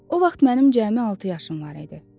O vaxt mənim cəmi altı yaşım var idi.